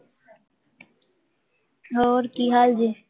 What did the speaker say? ਹੋਰ, ਕਿ ਹਾਲ ਜੇ?